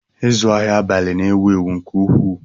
Ịzụ ahịa abalị na-ewu ewu nke ukwuu